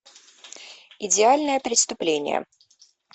идеальное преступление